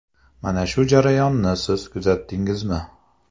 Mana shu jarayonni siz kuzatdingizmi?